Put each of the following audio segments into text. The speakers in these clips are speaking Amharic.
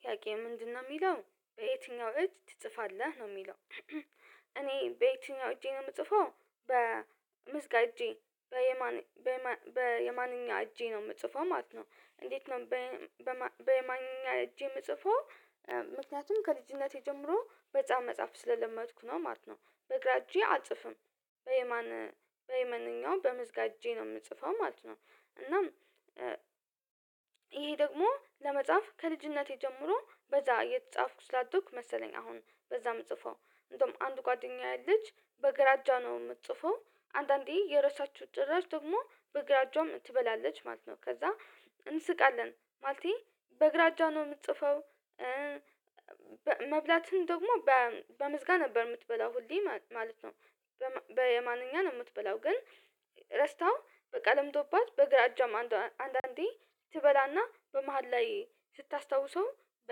ጥያቄ ምንድነው የሚለው በየትኛው እጅ ትጽፋለህ? ነው የሚለው እኔ በየትኛው እጄ ነው የምጽፈው በምስጋ እጄ በየማንኛ እጄ ነው የምጽፈው ማለት ነው። እንዴት ነው በማንኛ እጄ የምጽፈው ምክንያቱም ከልጅነቴ ጀምሮ መጽሐፍ መጽሐፍ ስለለመድኩ ነው ማለት ነው። በግራ እጄ አልጽፍም። በየማን በየማንኛውም በምዝጋጄ ነው የምጽፈው ማለት ነው። እናም ይሄ ደግሞ ለመጻፍ ከልጅነቴ ጀምሮ በዛ የጻፍኩ ስላደኩኝ መሰለኝ አሁን በዛም ምጽፈው እንደውም አንድ ጓደኛዬ ልጅ በግራ እጇ ነው የምትጽፈው አንዳንዴ የረሳችው ጭራሽ ደግሞ በግራ እጇም ትበላለች ማለት ነው። ከዛ እንስቃለን ማለቴ በግራ እጇ ነው የምትጽፈው መብላትን ደግሞ በምስጋ ነበር የምትበላው ሁሌ ማለት ነው። በየማንኛ የምትበላው ግን ረስታው በቃ ልምዶባት በግራ አጇም አንዳንዴ ትበላና በመሃል ላይ ስታስታውሰው በ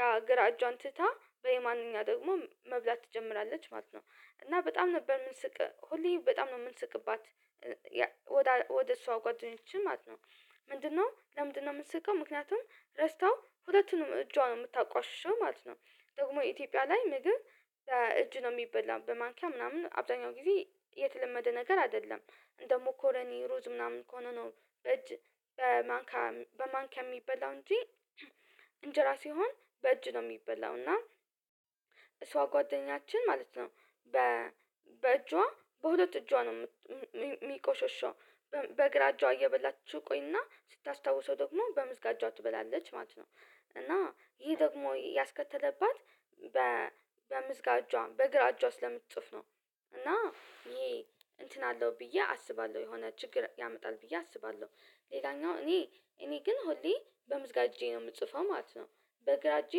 ያ ግራ እጇን ትታ በየማንኛ ደግሞ መብላት ትጀምራለች ማለት ነው እና በጣም ነበር የምንስቅ ሁሌ በጣም ነው የምንስቅባት ወደ እሷ ጓደኞችን ማለት ነው። ምንድነው ለምንድነው የምትስቀው ምክንያቱም ረስታው ሁለቱንም እጇን የምታቆሽሸው ማለት ነው። ደግሞ የኢትዮጵያ ላይ ምግብ እጅ ነው የሚበላው በማንኪያ ምናምን አብዛኛው ጊዜ የተለመደ ነገር አይደለም። ደግሞ መኮኒ፣ ሩዝ ምናምን ከሆነ ነው በእጅ በማንካ በማንኪያ የሚበላው እንጂ እንጀራ ሲሆን በእጅ ነው የሚበላው እና እሷ ጓደኛችን ማለት ነው በ በእጇ በሁለት እጇ ነው ሚቆሸሸው በእግራ እጇ እየበላችሁ ትቆይና ስታስታውሰው ደግሞ በምስጋ እጇ ትበላለች ማለት ነው እና ይሄ ደግሞ ያስከተለባት በምዝጋጇ በግራ እጇ ስለምትጽፍ ነው እና ይሄ እንትን አለው ብዬ አስባለሁ የሆነ ችግር ያመጣል ብዬ አስባለሁ። ሌላኛው እኔ እኔ ግን ሁሌ በምዝጋጄ ነው የምጽፈው ማለት ነው። በግራ እጄ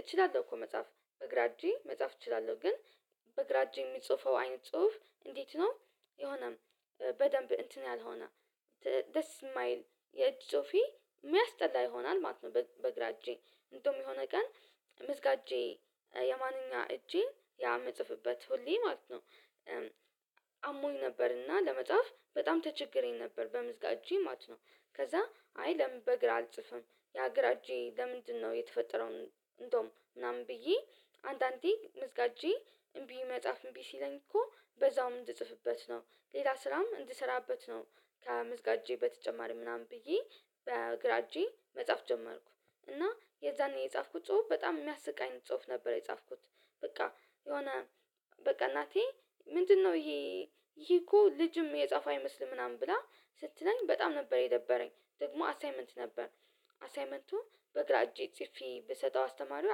እችላለሁ እኮ መጽሐፍ በግራ እጄ መጽሐፍ እችላለሁ ግን በግራ እጄ የሚጽፈው አይነት ጽሁፍ እንዴት ነው የሆነም በደንብ እንትን ያልሆነ ደስ የማይል የእጅ ጾፊ የሚያስጠላ ይሆናል ማለት ነው። በግራ እጄ እንደውም የሆነ ቀን ምስጋ እጄ የማንኛ እጄ ያ ምጽፍበት ሁሌ ማለት ነው። አሞኝ ነበርና ለመጽሐፍ በጣም ተቸግሬ ነበር በምዝጋጄ ማት ነው። ከዛ አይ ለምን በግራ አልጽፍም ያ ግራ እጄ ለምንድነው የተፈጠረው እንደውም ምናምን ብዬ አንዳንዴ ምስጋ እጄ እምቢ መጽሐፍ እምቢ ሲለኝ እኮ በዛውም እንድጽፍበት ነው፣ ሌላ ስራም እንድሰራበት ነው። ከመዝጋጄ በተጨማሪ ምናምን ብዬ በግራ እጄ መጽሐፍ ጀመርኩ እና የዛኔ የጻፍኩት ጽሁፍ በጣም የሚያስቀኝ ጽሁፍ ነበር የጻፍኩት በቃ የሆነ በቃ እናቴ ምንድነው ይሄ ይሄ እኮ ልጅም የጻፈ አይመስልም ምናምን ብላ ስትለኝ በጣም ነበር የደበረኝ ደግሞ አሳይመንት ነበር። አሳይመንቱ በግራ እጄ ጽፌ ብሰጠው አስተማሪው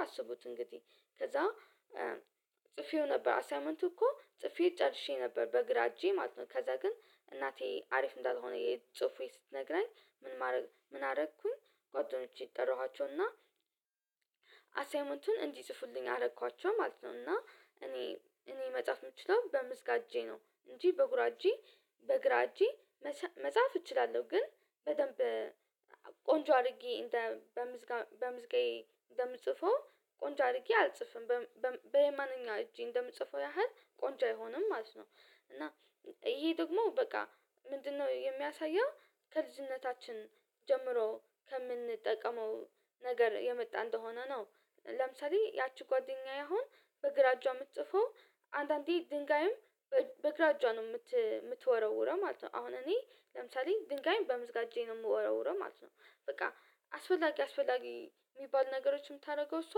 ያሰቡት እንግዲህ ከዛ ጽፌው ነበር አሳምንቱ እኮ ጽፌ ጨርሼ ነበር በግራ እጄ ማለት ነው ከዛ ግን እናቴ አሪፍ እንዳልሆነ ጹፌ ስትነግረኝ ምን ማድረግ ምን አረኩኝ ጓደኞቼ ጠራኋቸውና አሳይመንቱን እንዲጽፉልኝ አረኳቸው ማለት ነው እና እኔ እኔ መጽሐፍ የምችለው በምስጋጄ ነው እንጂ በጉራጄ በግራ እጄ መጻፍ እችላለሁ ግን በደንብ ቆንጆ አድርጌ እንደ በምስጋዬ በምስጋዬ እንደምትጽፈው ቆንጆ አድርጌ አልጽፍም። በየማንኛውም እጄ እንደምትጽፈው ያህል ቆንጆ አይሆንም ማለት ነው። እና ይሄ ደግሞ በቃ ምንድነው የሚያሳየው ከልጅነታችን ጀምሮ ከምንጠቀመው ነገር የመጣ እንደሆነ ነው። ለምሳሌ ያቺ ጓደኛዬ አሁን በግራ እጇ የምትጽፈው አንዳንዴ ድንጋይም በግራ እጇ ነው የምትወረውረው ማለት ነው። አሁን እኔ ለምሳሌ፦ ድንጋይን በምዝጋጄ ነው የምወረውረው ማለት ነው። በቃ አስፈላጊ አስፈላጊ የሚባል ነገሮችን የምታደርገው እሷ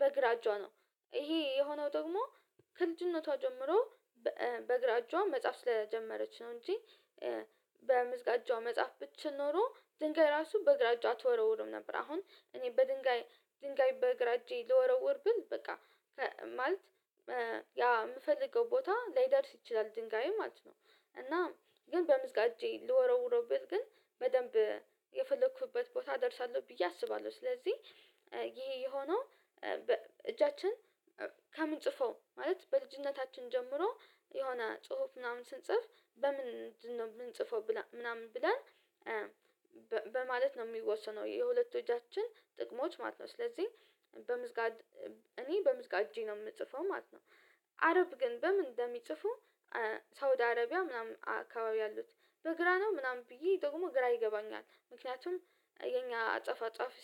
በግራ እጇ ነው። ይሄ የሆነው ደግሞ ከልጅነቷ ጀምሮ በግራ እጇ መጽሐፍ ስለጀመረች ነው እንጂ በምዝጋጇ መጽሐፍ ብትችል ኖሮ ድንጋይ ራሱ በግራ እጇ አትወረውርም ነበር። አሁን እኔ በድንጋይ ድንጋይ በግራ እጄ ልወረውር ብል በቃ ማለት ያ የምፈልገው ቦታ ላይደርስ ይችላል ድንጋይ ማለት ነው እና ግን በምዝጋጄ ልወረውረው ግን በደንብ የፈለኩበት ቦታ አደርሳለሁ ብዬ አስባለሁ። ስለዚህ ይሄ የሆነው እጃችን ከምንጽፈው ማለት በልጅነታችን ጀምሮ የሆነ ጽሁፍ ምናምን ስንጽፍ በምንድን ነው የምንጽፈው ምናምን ብለን በማለት ነው የሚወሰነው። የሁለቱ እጃችን ጥቅሞች ማት ነው። ስለዚህ በምዝጋድ እኔ በምዝጋጄ ነው የምጽፈው ማለት ነው። አረብ ግን በምን እንደሚጽፉ ሳውዲ አረቢያ ምናምን አካባቢ ያሉት በግራ ነው? ምናምን ብዬ ደግሞ ግራ ይገባኛል። ምክንያቱም የኛ አጻፋ ጻፍ